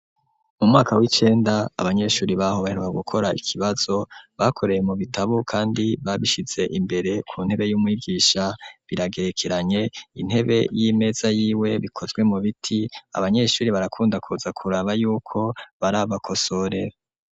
Mu mwaka w'icenda abanyeshuri baho baheruka gukora ikibazo bakoreye mu bitabu, kandi babishize imbere ku ntebe y'umwibwisha biragerekeranye intebe y,imeza yiwe bikozwe mu biti abanyeshuri barakunda Kuza kuraba y'uko barabakosora.